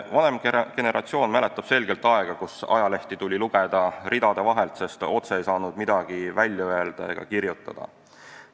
Vanem generatsioon mäletab selgelt aega, kus ajalehti tuli lugeda ridade vahelt, sest otse ei saanud midagi välja öelda ega kirjutada.